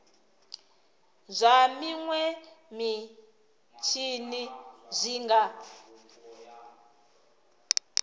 zwa minwe mitshini zwi nga